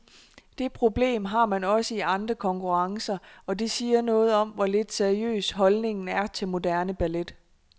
Det problem har man også i andre konkurrencer, og det siger noget om, hvor lidt seriøs holdningen er til moderne ballet.